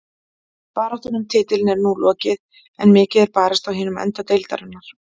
Baráttan um titilinn er nú lokið en mikið er barist á hinum enda deildarinnar.